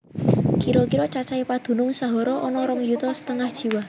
Kira kira cacahé padunung Sahara ana rong yuta setengah jiwa